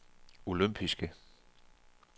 olympiske